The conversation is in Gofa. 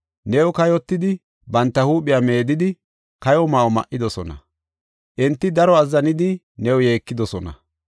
New kayotidi, banta huuphiya meedidi, kayo ma7o ma7idosona; enti daro azzanidi new yeekidosona.